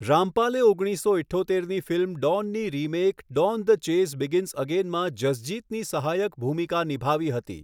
રામપાલે ઓગણીસો ઇઠ્ઠોતેરની ફિલ્મ ડોનની remake, Don the chase begins અગેનમાં જસજિતની સહાયક ભૂમિકા નિભાવી હતી.